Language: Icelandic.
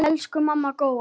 Elsku amma Góa.